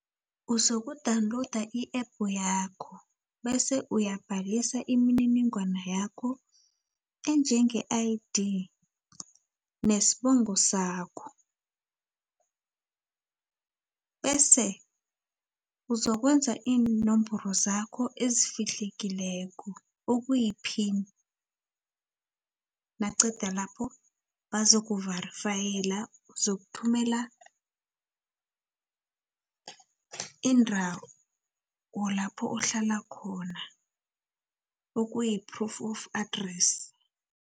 Uzoku-downloada i-app yakho, bese uyabhalisa imininingwana yakho enjenge-I_D, nesibongo sakho, bese ukuzokwenza iinomboro zakho ezifihlekileko okuyiphini, naqeda lapho bazoku-varyfayela, uzokuthumela indawo lapho ohlala khona, okuyi-proof of address.